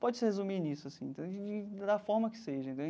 Pode-se resumir nisso assim, da forma que seja entendeu.